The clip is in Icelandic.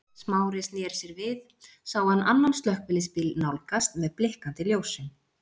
Smári sneri sér við sá hann annan slökkviliðsbíl nálgast með blikkandi ljósum.